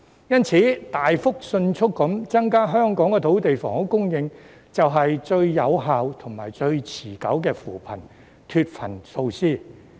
因此，大幅及迅速地增加香港的土地及房屋供應，是最有效及最持久的扶貧脫貧措施。